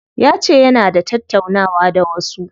Yace yana da tattaunawa da wasu.